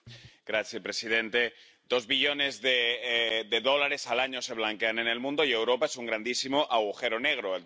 Señor presidente, dos billones de dólares al año se blanquean en el mundo, y Europa es un grandísimo agujero negro.